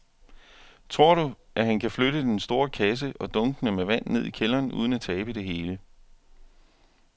Tror du, at han kan flytte den store kasse og dunkene med vand ned i kælderen uden at tabe det hele?